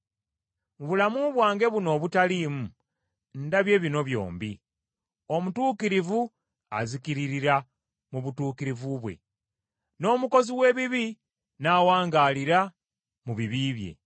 Mu bulamu bwange buno obutaliimu ndabye bino byombi: omutuukirivu azikiririra mu butuukirivu bwe, n’omukozi w’ebibi n’awangaalira mu bibi bye.